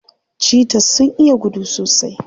Cheaters sun iya gudu sosai.